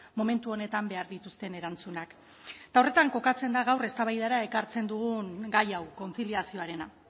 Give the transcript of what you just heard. momentu honetan behar dituzten erantzunak eta horretan kokatzen da gaur eztabaidara ekartzen dugun gai hau kontziliazioarena